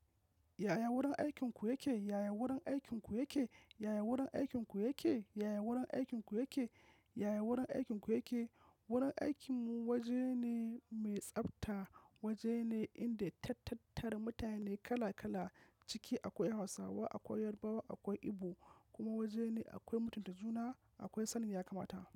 Yaya wurin aikinku yake? Yaya wurin aikinku yake? Yaya wurin aikinku yake? Yaya wurin aikinku yake? Yaya wurin aikinku yake? Wurin aikinmu wajene mai tsafta. Wajene inda tattatara mutane kala kala cike akwai Hausawa, akwai Yarbawa, akwai Igbo, kuma wajene akwai mutunta juna akwai sanin ya kamata.